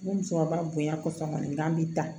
Ni musokɔrɔba bonya kɔfɛ kɔni n bɛ taa